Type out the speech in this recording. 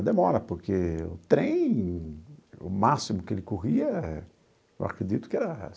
A demora, porque o trem, o máximo que ele corria, eu acredito que era